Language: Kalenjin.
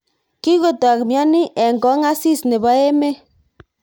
Kikotok mnyeni eng kong asis nebo emet.